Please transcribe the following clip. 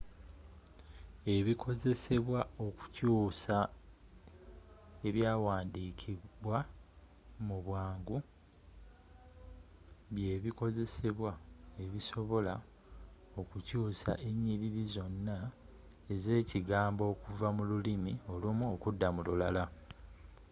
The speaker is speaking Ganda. ebikozesebwa okukyuusa ebyawandiikibwa mubwangu – by’ebikozesebwa ebisobola okukyuusa enyiriri zonna ezekigambo okuva mululimi olumu okudda mululala